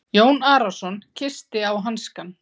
Jón Arason kyssti á hanskann.